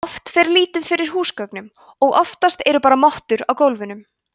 oft fer lítið fyrir húsgögnum og oftast eru bara mottur á gólfunum